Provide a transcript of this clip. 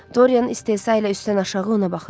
Dorian istehza ilə üstdən aşağı ona baxırdı.